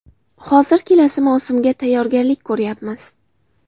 Hozir kelasi mavsumga tayyorgarlik ko‘ryapmiz.